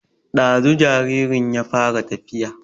Ɗazu jaririn ya fara tafiya